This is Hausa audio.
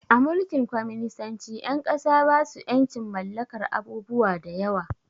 A Mulkin kwaminisanci ƴan ƙasa basu ƴancin mallakar abubuwa da yawa